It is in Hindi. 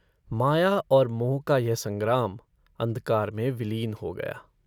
माया और मोह का यह सग्राम अंधकार में विलीन हो गया।